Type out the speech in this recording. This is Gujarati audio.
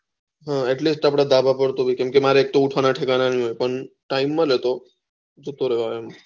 atleast આપળે ધાભા પર કેમકે મારે ઊઠવાનું ઠેકાણા નહી હોતા ને ટાયમ મળે તો